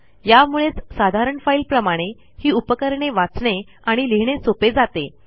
यामुळेच साधारण फाईलप्रमाणे ही उपकरणे वाचणे आणि लिहिणे सोपे जाते